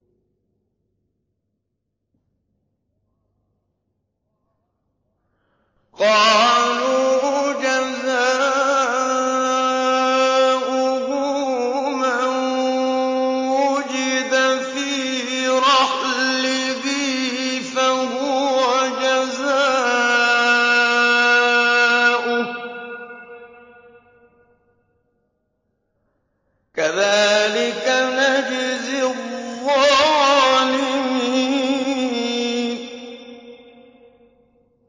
قَالُوا جَزَاؤُهُ مَن وُجِدَ فِي رَحْلِهِ فَهُوَ جَزَاؤُهُ ۚ كَذَٰلِكَ نَجْزِي الظَّالِمِينَ